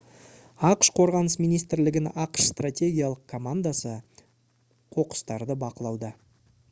ақш қорғаныс министрлігінің ақш стратегиялық командасы қоқыстарды бақылауда